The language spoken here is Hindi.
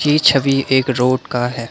ए छवि एक रोड का है।